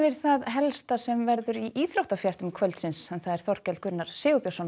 það helsta sem verður í íþróttafréttum kvöldsins Þorkell Gunnar Sigurbjörnsson